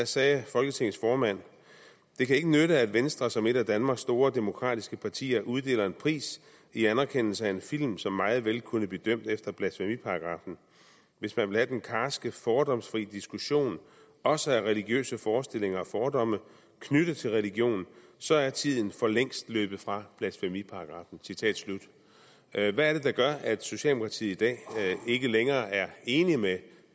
sagde folketingets formand det kan ikke nytte at venstre som et af danmarks store demokratiske partier uddeler en pris i anerkendelse af en film som meget vel kunne blive dømt efter blasfemiparagraffen hvis man vil have den karske fordomsfri diskussion også af religiøse forestillinger og fordomme knyttet til religion så er tiden for længst løbet fra blasfemiparagraffen hvad hvad er det der gør at socialdemokratiet i dag ikke længere er enig med